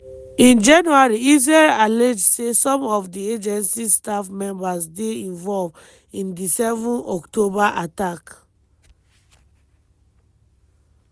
in january israel allege say some of di agency staff members dey involved in di 7 october attack.